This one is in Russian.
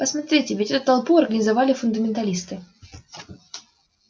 посмотрите ведь эту толпу организовали фундаменталисты